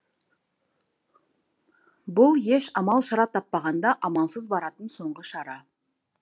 бұл еш амал шара таппағанда амалсыз баратын соңғы шара